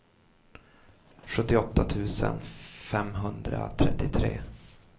sjuttioåtta tusen femhundratrettiotre